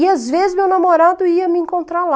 E, às vezes, meu namorado ia me encontrar lá.